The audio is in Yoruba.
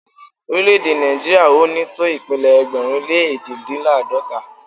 Orílẹ̀-èdè Nàìjíríà ò ní tó ìpínlẹ̀ ẹgbẹ̀rún lé èjìdínláàdọ́ta